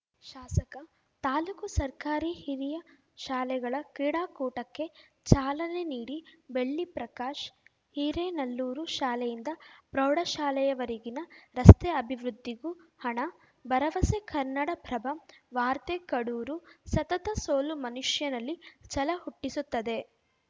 ಶಾಸಕ ತಾಲೂಕು ಸರ್ಕಾರಿ ಹಿರಿಯ ಶಾಲೆಗಳ ಕ್ರೀಡಾಕೂಟಕ್ಕೆ ಚಾಲನೆ ನೀಡಿ ಬೆಳ್ಳಿ ಪ್ರಕಾಶ್‌ ಹಿರೇನಲ್ಲೂರು ಶಾಲೆಯಿಂದ ಪ್ರೌಢಶಾಲೆಯವರೆಗಿನ ರಸ್ತೆ ಅಭಿವೃದ್ಧಿಗೂ ಹಣ ಭರವಸೆ ಕನ್ನಡಪ್ರಭ ವಾರ್ತೆ ಕಡೂರು ಸತತ ಸೋಲು ಮನುಷ್ಯನಲ್ಲಿ ಛಲ ಹುಟ್ಟಿಸುತ್ತದೆ